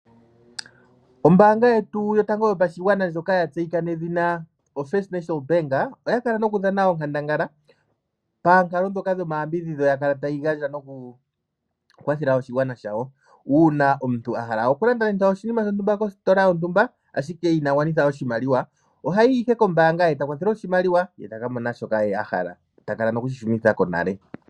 Ombaanga yetu yotango yopashigwana ndjoka ya tseyika nedhina First National Bank oya kala noku dhana onkandangala paankalo ndhoka yoku yambidhidha okugandja nokukwathela oshigwana shawo uuna ngaa omuntu ahala oku landa oshinima shontumba kositola, ashike inagwanitha oshimaliwa ohayi owala kombaanga ye ta kwathelwa oshimaliwa ye taka mona shoka ahala ye ta kala nokushi shunitha ko nale.